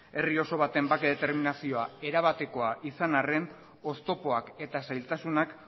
herri oso baten bake determinazioa erabatekoa izan arren oztopoak eta zailtasunak